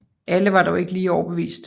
Alle var dog ikke lige overbevist